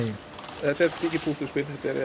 þetta er mikið púsluspil